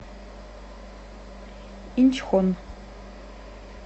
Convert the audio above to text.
инчхон